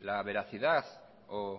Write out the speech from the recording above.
la veracidad o